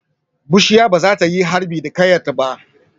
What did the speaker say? Bushiya ba za ta yi harbi da ƙayarta ba.